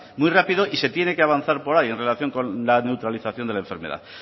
muy rápido y se tiene que avanzar por ahí en relación con la neutralización de la enfermedad